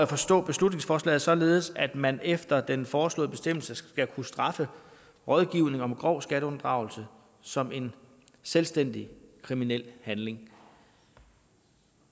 forstå beslutningsforslaget således at man efter den foreslåede bestemmelse skal kunne straffe rådgivningen om grov skatteunddragelse som en selvstændig kriminel handling